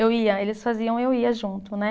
Eu ia, eles faziam, eu ia junto, né?